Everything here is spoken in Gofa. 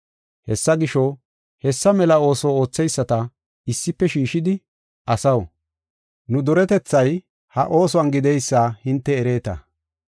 Hessa gisho, hessa mela ooso ootheyisata issife shiishidi, “Asaw, nu duretethay ha oosuwan gideysa hinte ereeta.